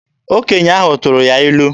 Okenye ahụ tụrụ ya ilu.